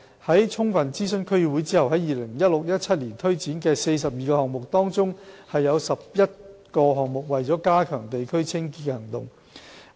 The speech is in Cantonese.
在充分諮詢區議會後 ，2016-2017 年度推展的42個項目，當中有11個項目為加強地區清潔的行動。